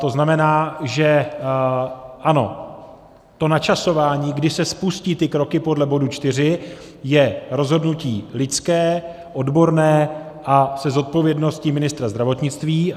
To znamená, že ano, to načasování, kdy se spustí ty kroky podle bodu 4, je rozhodnutí lidské, odborné a se zodpovědností ministra zdravotnictví.